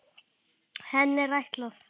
Henni er ætlað að